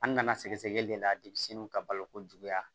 An nana sɛgɛsɛgɛli le la de ka balo ko juguya